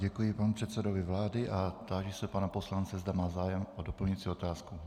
Děkuji panu předsedovi vlády a táži se pana poslance, zda má zájem o doplňující otázku.